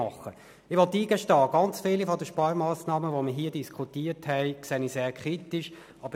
Ich gestehe ein, dass ich viele der Sparmassnahmen, die wir hier diskutiert haben, sehr kritisch sehe.